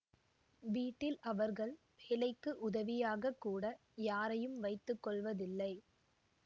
வீட்டில் அவர்கள் வேலைக்கு உதவியாக கூட யாரையும் வைத்து கொள்வதில்லை